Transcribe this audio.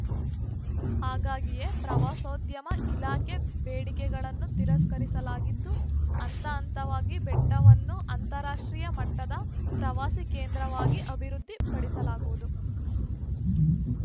ಹಾಗಾಗಿಯೇ ಪ್ರವಾಸೋದ್ಯಮ ಇಲಾಖೆ ಬೇಡಿಕೆಗಳನ್ನು ತಿರಸ್ಕರಿಸಲಾಗಿದ್ದು ಹಂತಹಂತವಾಗಿ ಬೆಟ್ಟವನ್ನು ಅಂತಾರಾಷ್ಟ್ರೀಯ ಮಟ್ಟದ ಪ್ರವಾಸಿ ಕೇಂದ್ರವಾಗಿ ಅಭಿವೃದ್ಧಿಪಡಿಸಲಾಗುವುದು